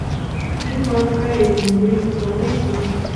фильм анна каренина мьюзикл найти